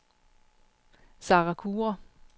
Sara Kure